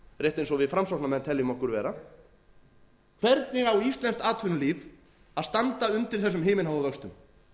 rétt eins og við framsóknarmenn teljum okkur vera hvernig á íslenskt atvinnulíf að standa undir þessum himinháu vöxtum